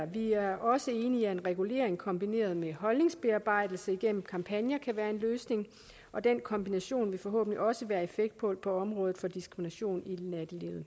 vi er også enige i at en regulering kombineret med holdningsbearbejdelse igennem kampagner kan være en løsning og den kombination vil forhåbentlig også være effektfuld på området for diskrimination i nattelivet